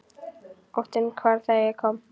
Óttinn hvarf þegar ég kom.